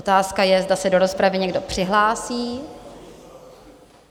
Otázka je, zda se do rozpravy někdo přihlásí.